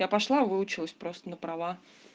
я пошла выучилась просто на права